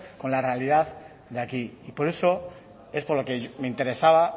con la realidad de aquí y por eso es por lo que me interesaba